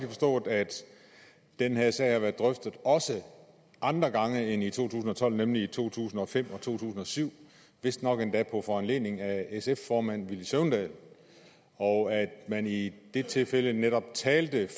forstået at den her sag har været drøftet også andre gange end i to tusind og tolv nemlig i to tusind og fem og to tusind og syv vistnok endda på foranledning af sf formand villy søvndal og at man i det tilfælde netop talte